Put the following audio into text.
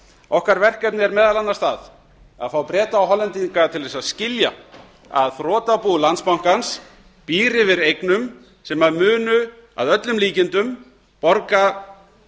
okkar verkefni er meðal annars það að fá breta og hollendinga til að skilja að þrotabú landsbankans býr yfir eignum sem munu að öllum líkindum borga